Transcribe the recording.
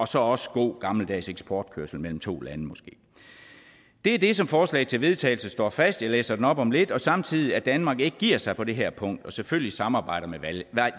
så også god gammeldags eksportkørsel mellem to lande det er det som forslaget til vedtagelse slår fast jeg læser det op om lidt og samtidig at danmark ikke giver sig på det her punkt og selvfølgelig samarbejder med